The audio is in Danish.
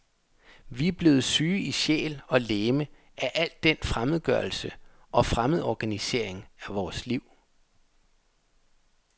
Vi er blevet syge i sjæl og legeme af al den fremmedgørelse og fremmedorganisering af vores liv.